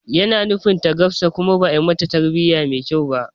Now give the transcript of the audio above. Yana nufin ta gafsa kuma ba'a mata tarbiya mai kyau ba